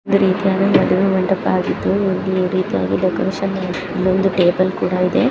ಒಂದು ರೀತಿಯ ಮದುವೆಯ ಮಂಟಪ ಆಗಿದ್ದು ಡೆಕೋರೇಷನ್ ಇಲ್ಲಿ ಒಂದು ಟೇಬಲ್ ಕೂಡ ಇದೆ.